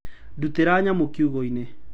Ndutĩra nyamũ kiugũ-inĩ.